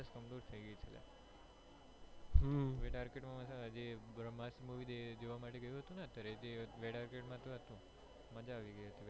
થઇ ગઈ છે અલ્યા માં જે બ્રહ્માસ્ત્ર movie જોવા માટે ગયેલો હતો ને અત્યરે જે માંજ તો હતું મજા આવી ગઈ હતી